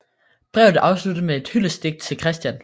Brevet afsluttedes med et hyldestdigt til Christian